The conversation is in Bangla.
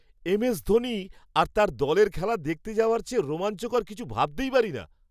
এম.এস ধোনি আর তাঁর দলের খেলা দেখতে যাওয়ার চেয়ে রোমাঞ্চকর কিছু ভাবতেই পারিনা!